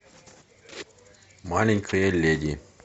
маленькая леди